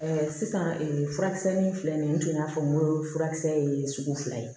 sisan furakisɛ ni filɛ nin ye n tun y'a fɔ n ko furakisɛ ye sugu fila ye